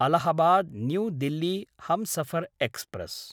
Allahabad New Delhi Humsafar express